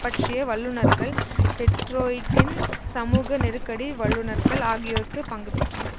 பற்றிய வல்லுனர்கள் டெட்ரோயிட்டின் சமூக நெருக்கடி வல்லுனர்கள் ஆகியோர்க்கு பங்கு பெற்றனர்